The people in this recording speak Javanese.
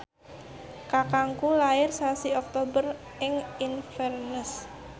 kakangku lair sasi Oktober ing Inverness